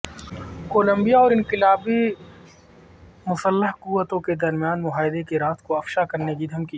Colombia اور انقلابی مسلح قوتوں کے درمیان معاہدے کے راز کو افشا کرنے کی دھکمی